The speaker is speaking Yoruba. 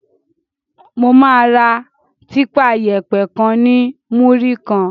Mo máa ra típa yẹ̀pẹ̀ kan ní múrí kan.